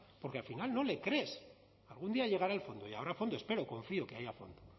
porque al final no le crees algún día llegará el fondo y habrá fondo espero confío que haya fondo